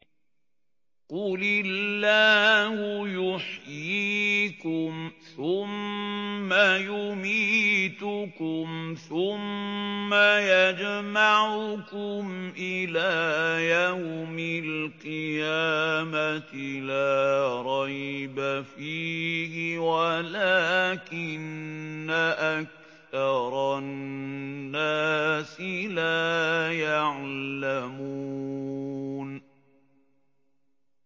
قُلِ اللَّهُ يُحْيِيكُمْ ثُمَّ يُمِيتُكُمْ ثُمَّ يَجْمَعُكُمْ إِلَىٰ يَوْمِ الْقِيَامَةِ لَا رَيْبَ فِيهِ وَلَٰكِنَّ أَكْثَرَ النَّاسِ لَا يَعْلَمُونَ